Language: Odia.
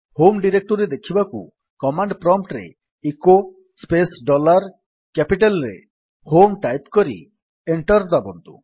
ହୋମ୍ ଡିରେକ୍ଟୋରୀ ଦେଖିବାକୁ କମାଣ୍ଡ୍ ପ୍ରମ୍ପ୍ଟ୍ ରେ ଇକୋ ସ୍ପେସ୍ ଡଲାର୍ କ୍ୟାପିଟାଲ୍ ରେ h o m e type କରି ଏଣ୍ଟର୍ ଦାବନ୍ତୁ